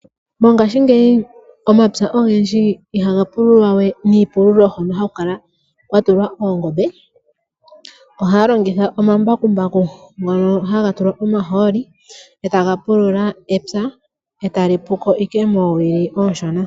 Mongashingeyi omapya ogendji ihaga pululwa we niipululo hono haku kala kwatulwa oongombe, ohaya longitha omambakumbaku ngono haga tulwa omahooli etaga pulula epya eta li puko owala moowili oonshona.